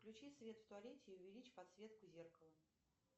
включи свет в туалете и увеличь подсветку зеркала